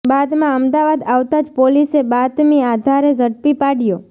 બાદમાં અમદાવાદ આવતા જ પોલીસે બાતમી આધારે ઝડપી પાડ્યો